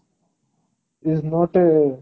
is not a